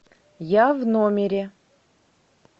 я в номере